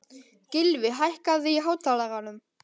Gylfi, hækkaðu í hátalaranum.